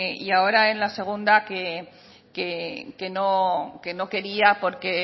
y ahora en la segunda que no quería porque